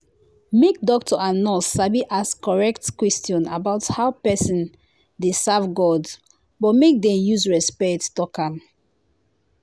make doctor and nurse sabi ask correct question about how person dey serve god but make dem use respect talk am.